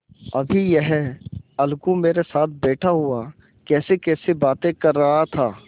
अभी यह अलगू मेरे साथ बैठा हुआ कैसीकैसी बातें कर रहा था